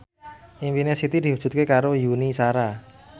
impine Siti diwujudke karo Yuni Shara